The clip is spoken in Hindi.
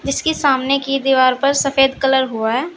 इसकी सामने की दीवार पर सफेद कलर हुआ है।